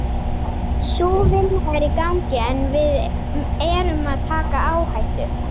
Sú vinna er í gangi en við erum að taka áhættu.